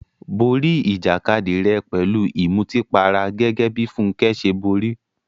Borí ìjàkadì rẹ pẹ̀lú ìmutípara gẹ́gẹ́ bí Funke ṣe borí.